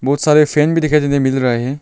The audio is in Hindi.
बहुत सारे फैन भी दिखाई देने को मिल रहे है।